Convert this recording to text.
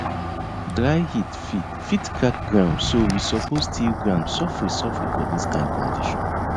dry heat fit fit crack ground so we suppose till ground sofri sofri for dis kain condition